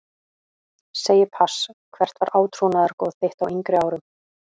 Segi pass Hvert var átrúnaðargoð þitt á yngri árum?